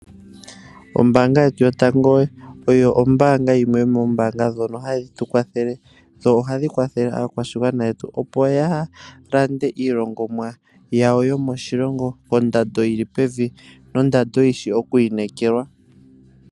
Ombanga yetu yotango oyo yimwe yomoombanga hadhi tukwathele yo ohayi kwathele aakwashigwana yetu opo yalande iilongomwa yawo yomoshilongo kondando yili pevi noyishi okwiinekelwa.